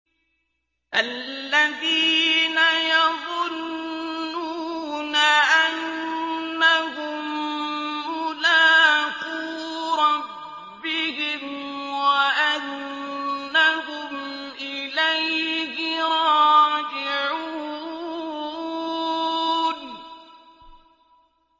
الَّذِينَ يَظُنُّونَ أَنَّهُم مُّلَاقُو رَبِّهِمْ وَأَنَّهُمْ إِلَيْهِ رَاجِعُونَ